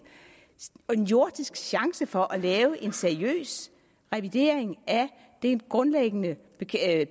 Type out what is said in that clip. jordisk chance for at lave en seriøs revidering af den grundlæggende